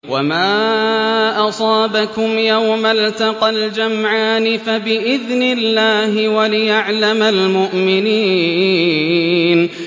وَمَا أَصَابَكُمْ يَوْمَ الْتَقَى الْجَمْعَانِ فَبِإِذْنِ اللَّهِ وَلِيَعْلَمَ الْمُؤْمِنِينَ